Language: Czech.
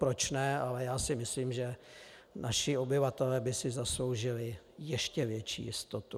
Proč ne, ale já si myslím, že naši obyvatelé by si zasloužili ještě větší jistotu.